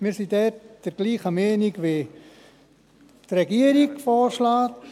Wir sind dort der gleichen Meinung, wie es die Regierung vorschlägt.